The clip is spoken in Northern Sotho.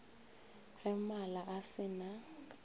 ge mala a se na